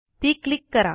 ती क्लिक करा